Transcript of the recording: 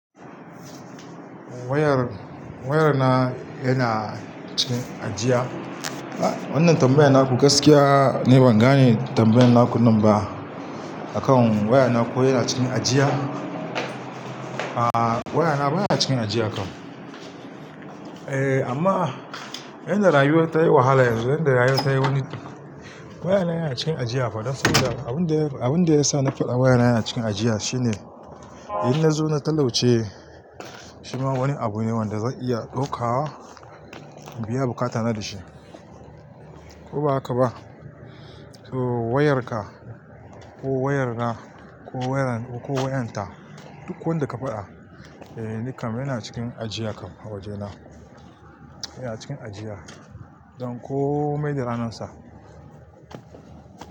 Wayar, wayar na yana cikin ajiya. Wannan tambayar na ku gaskiya, ni bangane da tambayar na ku namba akan wayar na ko yana cikin ajiya, a wayar na baya cikin ajiya kam. Eh amma inda rayuwar ta yi wahala yanzu, inda rayuwar ta wani, wayar na yana cikin ajiya fa. Dan saboda abun da abun da ya sa na faɗa wayar na yana cikin ajiya shine in na zo na talauci shima wani abu ne wanda zan iya ɗauka biya bukata na da shi. Ko ba haka ba, to wayar ka ko wayar na ko wayar ko wayar ta duk wanda ka faɗa eh nikan yana cikin ajiya kam a waje na. Yana cikin ajiya. Don komai da ranan sa.